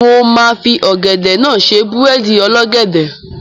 Mo máa fi ọ̀gẹ̀dẹ̀ náà ṣe búrẹ́dì ọlọ́gẹ̀dẹ̀.